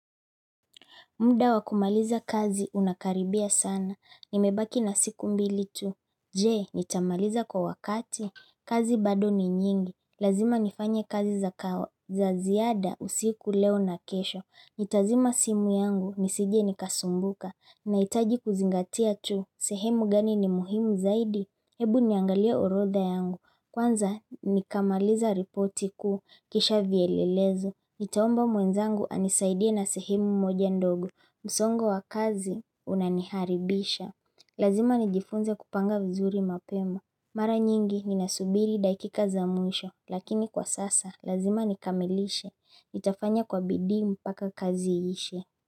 Muda wa kumaliza kazi unakaribia sana. Nimebaki na siku mbili tu. Je, nitamaliza kwa wakati? Kazi bado ni nyingi. Lazima nifanye kazi za kawa. Za ziada usiku leo na kesho. Nitazima simu yangu nisije nikasumbuka. Nahitaji kuzingatia tu. Sehemu gani ni muhimu zaidi? Hebu niangalie orodha yangu. Kwanza nikamaliza ripoti kuu. Kisha vyelelezo. Nitaomba mwenzangu anisaidie na sehemu moja ndogo. Msongo wa kazi unaniharibisha. Lazima nijifunze kupanga vizuri mapema. Mara nyingi ninasubiri dakika za mwisho. Lakini kwa sasa, lazima nikamilishe. Nitafanya kwa bidii mpaka kazi ishe.